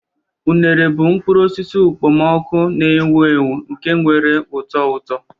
Unere bụ mkpụrụ osisi okpomọkụ na-ewu ewu nke nwere ụtọ ụtọ.